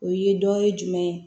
O ye dɔ ye jumɛn ye